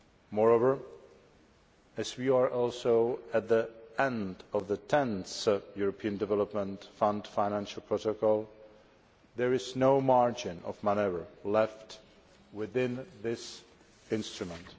Moreover, as we are also at the end of the 10th European Development Fund Financial Protocol, there is no margin of manoeuvre left within this instrument.